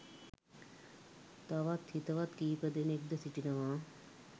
තවත් හිතවත් කීපදෙනෙක් ද සිටිනවා.